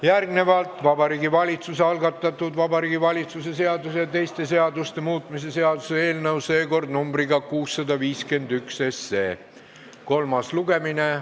Järgnevalt Vabariigi Valitsuse algatatud Vabariigi Valitsuse seaduse ja teiste seaduste muutmise seaduse eelnõu, seekord nr 651, kolmas lugemine.